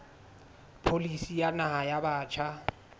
pholisi ya naha ya batjha